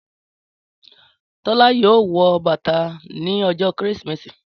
Tọ́lá yóò wọ bàtà ní ọjọ́ Kérésìmesì